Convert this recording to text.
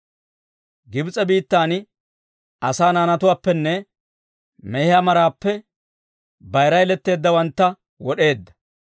Gibs'e biittan asaa naanatuwaappenne, mehiyaa maraappe, bayira yeletteeddawantta wod'eedda.